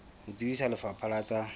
ho tsebisa lefapha la tsa